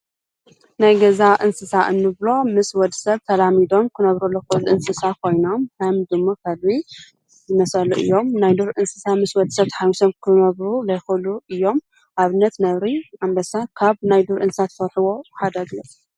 ናይ ገዛ እንስሳት እንብሎም ምስ ወዲ ሰብ ተላሚዶም ክነብሩ ዝክእሉ እንስሳ ኮይኖም ከም ዱሙ ፣ከልቢ ዝመሰሉ እዮም። ናይ ዱር እንስሳ ምስ ወዲ ሰብ ተሓውሶም ክነብሩ ዘይክእሉ እዮም። ኣብነት ነብሪ፣ ኣንበሳ ካብ ናይ ዱር እንስሳት እትፈርሕዎ ሓደ ግለፅ?